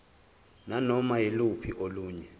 nanoma yiluphi olunye